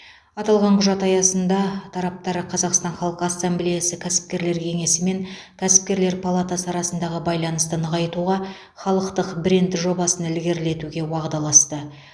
аталған құжат аясында тараптар қазақстан халқы ассамблеясы кәсіпкерлер кеңесі мен кәсіпкерлер палатасы арасындағы байланысты нығайтуға халықтық бренд жобасын ілгерілетуге уағдаласты